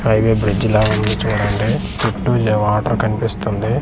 High వే bridge లా ఉంది చూడండి చుట్టూ జా వాటర్ కనిపిస్తుంది.